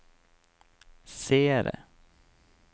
seere